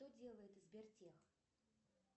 что делает сбертех